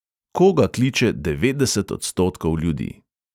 Koga kliče devetdeset odstotkov ljudi?